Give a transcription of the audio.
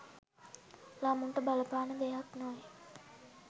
ළමුන්ට බලපාන දෙයක් නොවේ.